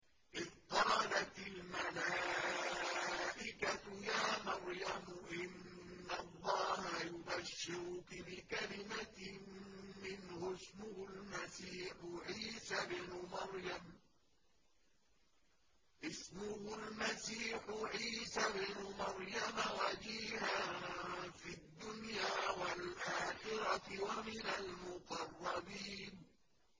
إِذْ قَالَتِ الْمَلَائِكَةُ يَا مَرْيَمُ إِنَّ اللَّهَ يُبَشِّرُكِ بِكَلِمَةٍ مِّنْهُ اسْمُهُ الْمَسِيحُ عِيسَى ابْنُ مَرْيَمَ وَجِيهًا فِي الدُّنْيَا وَالْآخِرَةِ وَمِنَ الْمُقَرَّبِينَ